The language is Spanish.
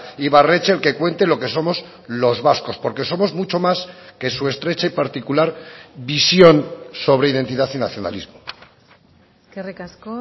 ibarretxe el que cuente lo que somos los vascos porque somos mucho más que su estrecha y particular visión sobre identidad y nacionalismo eskerrik asko